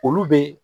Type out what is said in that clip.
Olu be